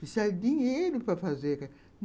Precisa de dinheiro para fazer.